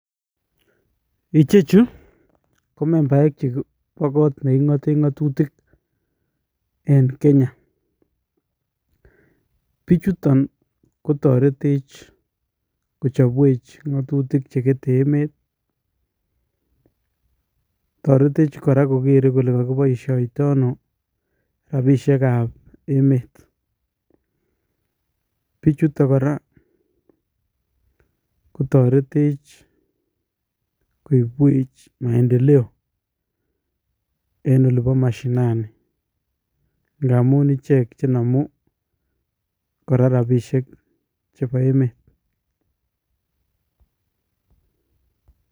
Biik chechu, komachen baek che ki obot che king'ate ng'atutik en Kenya. Bichotun kotoretech kochapwech ng'atutik che kete emet. Toretech kora kokere kole kakiboishoito ano rabishiekab emet. Bichutok kora, kotoretech kioibwech maendeleo en olibo mashinani. Ng'a amun ichek che namu kora rabishiek chebo emet.